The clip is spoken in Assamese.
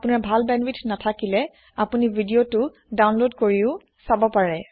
আপোনাৰ ভাল বেন্দ্বৱিথ নেথাকিলে আপোনি ভিদিঅ দাওনলদ কৰি চাব পাৰে